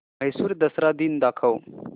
म्हैसूर दसरा दिन दाखव